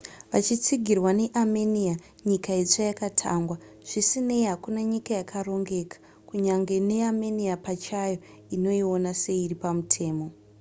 vachitsigirwa neamenia nyika itsva yakatangwa zvisinei hakuna nyika yakarongeka kunyange neamenia pachayo inoiona seiri pamutemo